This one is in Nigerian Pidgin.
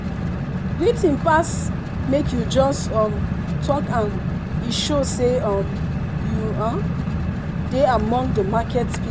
greeting pass make you jus um talk am e show say um you um de among the market pe